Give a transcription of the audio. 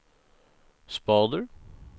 spader